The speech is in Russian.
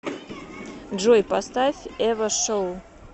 джой поставь эва шоу